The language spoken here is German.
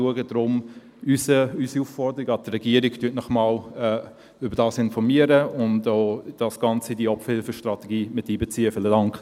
Daher unsere Aufforderung an die Regierung: Informieren Sie sich darüber und beziehen Sie das Ganze in die Opferhilfestrategie ein.